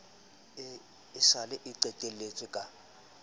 sa le e qheletswe ka